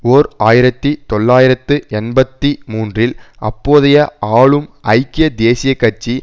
ஓர் ஆயிரத்தி தொள்ளாயிரத்து எண்பத்தி மூன்றில் அப்போதைய ஆளும் ஐக்கிய தேசிய கட்சி